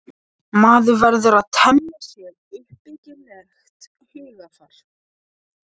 Maður verður að temja sér uppbyggilegt hugarfar.